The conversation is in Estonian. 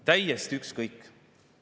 Täiesti ükskõik!